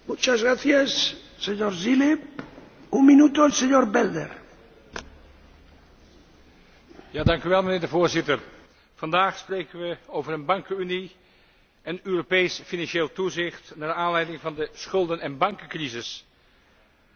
Vandaag spreken wij over een bankenunie en Europees financieel toezicht naar aanleiding van de schulden en bankencrisis. Maar helaas zal het niet beperkt blijven tot bankentoezicht, gezien de bouwstenen voor een echte monetaire en economische unie van raadsvoorzitter Van Rompuy.